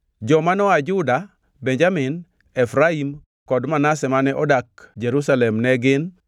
Joma noa Juda, Benjamin, Efraim kod Manase mane odak Jerusalem ne gin: